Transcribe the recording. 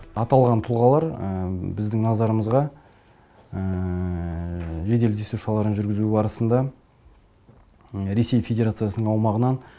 аталған тұлғалар біздің назарымызға жедел іздестіру шараларын жүргізу барысында ресей федерациясының аумағынан